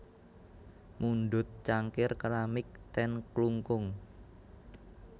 Mundhut cangkir keramik ten Klungkung